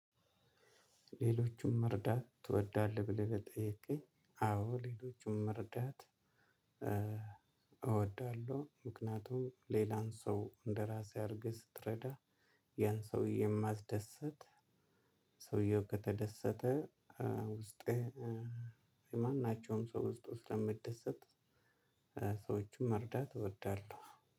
ሌሎቹን መርዳት ትወዳለህ? ብለህ ለጠይከኝ አዎ ሌሎቹን መርዳት እወዳለሁ። ምክንያቱም ሌላን ሰው እንደራሴ አርገ ስትረዳ። ያን ሰው የስማደሰት ሰውዬው ከተደሰተ ውስጤ። የማናቸውም ሰው ውስጡ ስለሚደሰት። ሰዎችን መርዳት እወዳለሁ